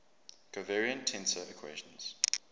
covariant tensor equations